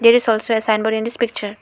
There is also a sign board in this picture.